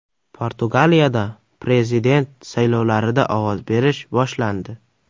Portugaliyada prezident saylovlarida ovoz berish boshlandi.